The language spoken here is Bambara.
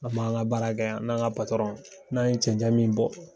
An b'an ka baara kɛ yan, n'an ka n'an ye cɛncɛn min bɔ